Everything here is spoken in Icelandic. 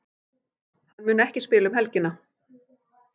Hann mun ekki spila um helgina.